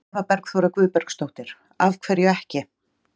Eva Bergþóra Guðbergsdóttir: Af hverju ekki?